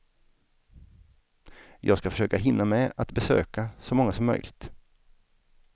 Jag ska försöka hinna med att besöka så många som möjligt.